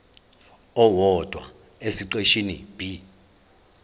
owodwa esiqeshini b